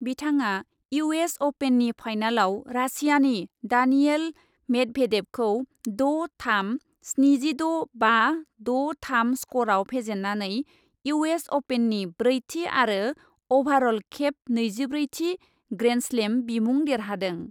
बिथाङा U S अपेननि फाइनालाव रासियानि दानियेल मेदभेदेभखौ द' थाम , स्निजिद' बा, द' थाम स्क'रआव फेजेन्नानै इउ एस अपेननि ब्रैथि आरो अभारअल खेब नैजिब्रैथि ग्रेन्डस्लेम बिमुं देरहादों।